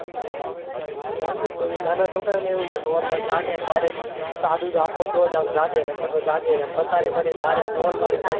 તો એમ ની તો બી નાના છોકરા ને એવું જ હોય સવાર માં જાગી ને direct ચા દૂધ આપો તો જ જાગે નકાર તો જાગે જ ની પથારી માંથી ધોલ મારી ને,